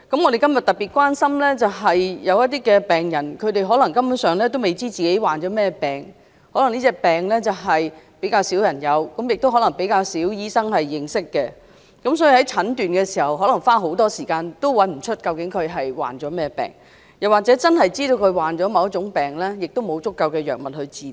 我們今天特別關心的是，有一些根本不知道自己患甚麼病的病人，可能這種疾病比較罕見，亦可能比較少醫生認識，所以可能花很長時間診斷也找不到患甚麼疾病，即使知道患某種病，也沒有足夠藥物治療。